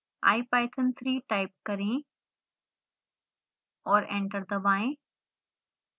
ipython3 type करें और enter दबाएं